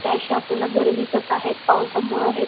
असे आपल्याला दिसत आहेत पावसामुळ हे--